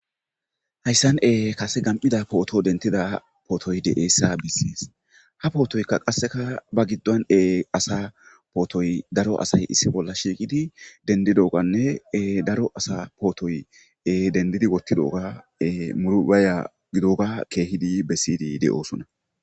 Haysan kase gamyida photo denthyssa besees ha potoy asa potoy dra asay issi bola shiqdi dendidoganne dro asa dendidi wothidoga baya gidoga kehidi besidi deyosona.